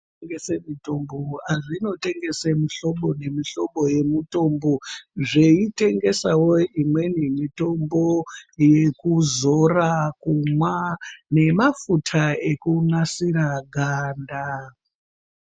Zvitoro zvinotengese. mitombo, azvinotengese mitombo mihlobo nemihlobo yemutombo, zveitengesawo imweni mitombo, yekuzora, kumwa, nemafuta ekunasira ganda.